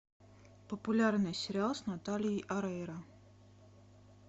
популярный сериал с натальей орейро